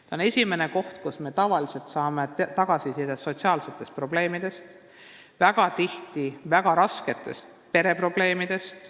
See on esimene koht, kus me tavaliselt saame tagasisidet sotsiaalsete probleemide, väga tihti ka väga raskete pereprobleemide kohta.